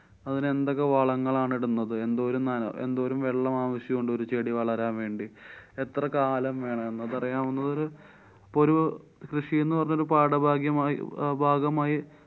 അതിനെന്തൊക്കെ വളങ്ങളാണ് ഇടുന്നത്, എന്തോരം നന~എന്തോരം വെള്ളം ആവശ്യണ്ട് ഒരു ചെടി വളരാന്‍ വേണ്ടി, എത്ര കാലം വേണം എന്ന് പറയാവുന്നതൊരു പ്പൊരു കൃഷിന്നു പറഞ്ഞൊരു പാഠഭാഗ്യമായി അഹ് ഭാഗമായി